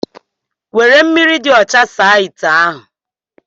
Were mmiri ocha saa ite ahu